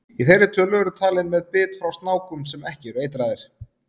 Í þeirri tölu eru talin með bit frá snákum sem ekki eru eitraðir.